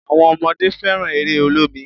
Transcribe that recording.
Àwọn ọmọdé fẹ́ràn eré olómi